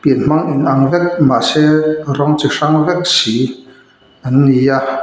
pian hmang inang vek mahse rawng chi hrang vek si an ni a--